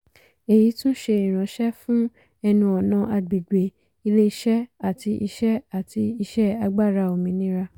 èyí tún ṣé ìránṣẹ́ fún ẹnu-ọ̀nà àgbègbè ilé-iṣẹ́ àti iṣẹ́ àti iṣẹ́ agbára òmìnira.